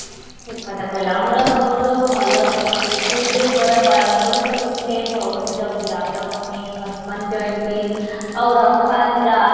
ଠିକ କଥା କହିଲ ଆମର ସବୁଠୁ ଭଲ ସଂକୃତିରେ ପୁରା ପାରମ୍ପରିକ ଭିତିରେ ଗୋଟେ ହଉଚି ରାମନବମୀ, ହନୁମାନ ଜୟନ୍ତୀ ଆଉ ରଥଯାତ୍ରା